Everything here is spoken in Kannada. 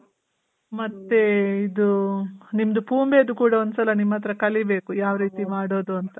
ಮತ್ತೆ ಇದು ನಿಮ್ದು ಪುಮೆದು ಕೂಡ ಒಂದ್ ಸಲ ನಿಮ್ ಹತ್ರ ಕಲಿಬೇಕು ಯಾವ್ ರೀತಿ ಮಾಡೋದು ಅಂತ.